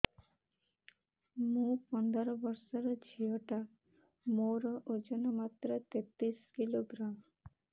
ମୁ ପନ୍ଦର ବର୍ଷ ର ଝିଅ ଟା ମୋର ଓଜନ ମାତ୍ର ତେତିଶ କିଲୋଗ୍ରାମ